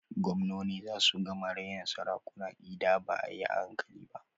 Gwamnoni zasu gama raina sarakuna ida ba a yi hankali ba.